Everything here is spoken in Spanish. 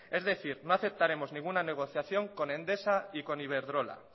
es decir no aceptaremos ninguna negociación con endesa y con iberdrola